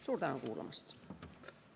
Suur tänu kuulamast!